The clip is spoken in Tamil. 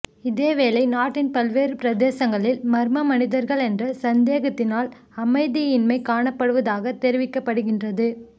இதேவேளை நாட்டின் பல்வேறு பிரதேசங்களில் மர்ம மனிதர்கள் என்ற சந்தேகத்தினால் அமைதியின்மை காணப்படுவதாக தெரிவிக்கப்படுகின்றது